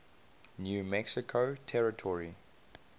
new mexico territory